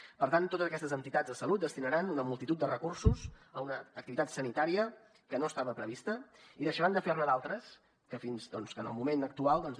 per tant totes aquestes entitats de salut destinaran una multitud de recursos a una activitat sanitària que no estava prevista i deixaran de fer ne d’altres que en el moment actual doncs